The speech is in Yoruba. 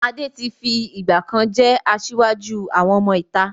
Adé tí fi ìgbàkan jẹ́ asiwaju àwọn ọmọ ìta.